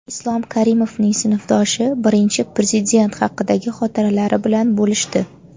Islom Karimovning sinfdoshi Birinchi Prezident haqidagi xotiralari bilan bo‘lishdi.